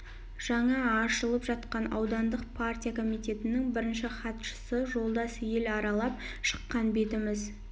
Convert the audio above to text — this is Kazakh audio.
жаңа ашылып жатқан аудандық партия комитетінің бірінші хатшысы жолдас ел аралап шыққан бетіміз